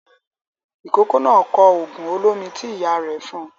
Ìkókó náà kọ òògùn olómi tí ìyá rẹ̀ fún un.